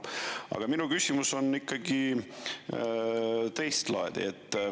Aga minu küsimus on ikkagi teistlaadi.